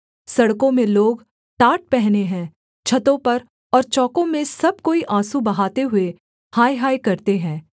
सड़कों में लोग टाट पहने हैं छतों पर और चौकों में सब कोई आँसू बहाते हुए हाय हाय करते हैं